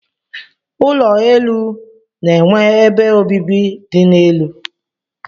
Ụlọ elu na-enwe ebe obibi dị n'elu.